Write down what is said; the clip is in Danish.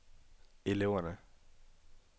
eleverne